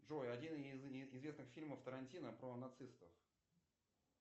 джой один из известных фильмов тарантино про нацистов